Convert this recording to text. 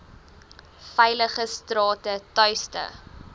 veilige strate tuiste